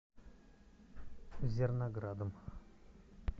зерноградом